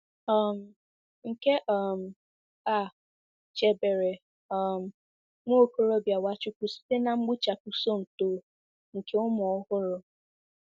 um Nke um a chebere um nwa okorobịa Nwachukwu site na mgbuchapụ Somto nke ụmụ ọhụrụ.